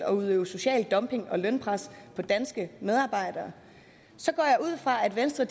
og udøve social dumping og lønpres på danske medarbejdere så går jeg ud fra at venstre